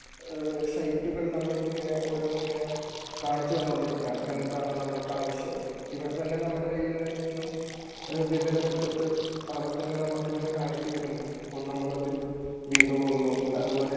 സൈറ്റുകൾ നമ്മൾക്ക് ഇങ്ങനെ ഓരോന്ന് ഇങ്ങനെ കാണിച്ചു തന്നുകൊണ്ടിരിക്കുകയാണ്. എന്താണ് നമ്മൾക്ക് ആവശ്യം? ഇവർ തന്നെ നമ്മുടെ കയ്യിൽ നിന്നും വിവരം എടുത്തിട്ട് അവർ തന്നെ നമുക്ക് ഇങ്ങനെ കാണിച്ചുതരുന്നു അപ്പോൾ നമ്മൾ അതിൽ വീണു പോകുന്നു. അതുപോലെ